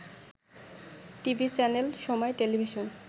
TV channel সময় television